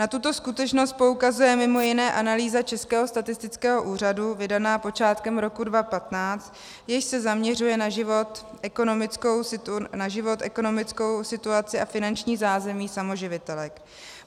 Na tuto skutečnost poukazuje mimo jiné analýza Českého statistického úřadu vydaná počátkem roku 2015, jež se zaměřuje na život, ekonomickou situaci a finanční zázemí samoživitelek.